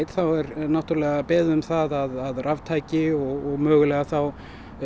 þá er náttúrulega beðið um það að raftæki og mögulega þá